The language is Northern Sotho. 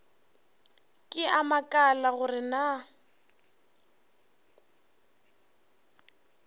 ke a makala gore na